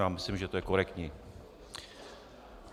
Já myslím, že to je korektní.